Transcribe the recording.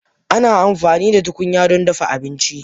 Ana amfani da tukunya don dafa abinci.